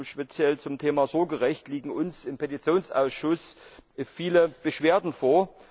Speziell zum Thema Sorgerecht liegen uns im Petitionsausschuss viele Beschwerden vor.